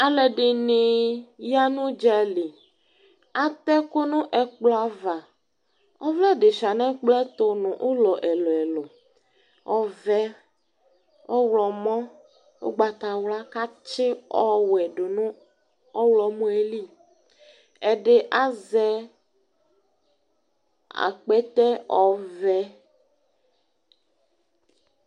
aluɛdini ya nu dza li atɛku nu ɛkploava ɔvlɛ di sua nɛ kplɔɛ tu nu ulɔ ɛluɛlu ɔvɛ ɔwlɔmɔ ugbatawla katsi ɔwɛ du nu ɔwlɔmɔyɛli ɛdi azɛ akpɛtɛ ɔvɛ